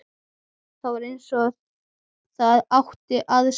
Það var eins og það átti að sér.